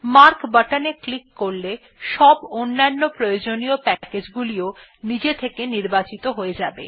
mark button এ click করলে সব অন্যান্য প্রয়োজনীয় প্যাকেজ গুলিও নিজে থেকে নির্বাচিত হয়ে যাবে